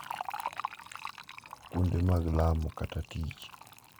Kuonde mag lamo kata tich.